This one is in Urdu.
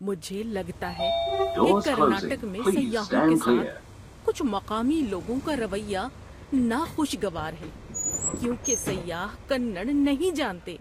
مجھے لگتا ہے کہ کرناٹک میں سیاحوں کے ساتھ کچھ مقامی لوگوں کا رویہ ناخوشگوار ہے کیونکہ سیاح کنڑ نہیں جانتے۔